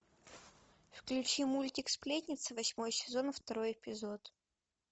включи мультик сплетница восьмой сезон второй эпизод